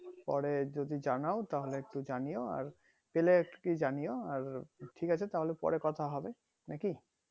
পরে যদি জানায় তাহলে একটু জানিও আর পেলে please জানিও আর ঠিক আছে তাহোলে পরে কথা হবে নাকি